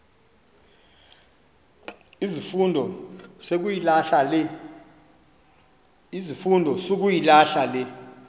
izifundo sukuyilahla le